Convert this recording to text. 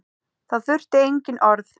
Þá þurfti engin orð.